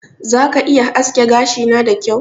Za ka iya aske gashina da kyau?